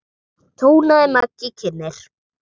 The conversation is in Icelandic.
tónaði Maggi kynnir.